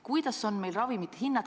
Millised on meil ravimite hinnad?